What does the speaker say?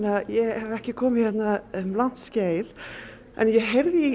að ég hef ekki komið hingað um langt skeið en ég heyrði í